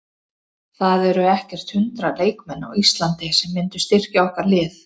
Það eru ekkert hundrað leikmenn á Íslandi sem myndu styrkja okkar lið.